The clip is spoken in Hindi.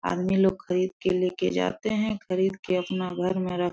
आदमी लोग खरीद के लेके जाते हैं खरीद के अपना घर में रख --